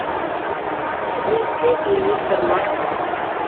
мисс кейти и мистер макс